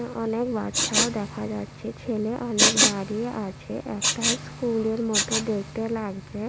অনেক বাচ্চাও দেখা যাচ্ছে ছেলে অনেক দাঁড়িয়ে আছে একটা স্কুল এর মত দেখতে লাগছে।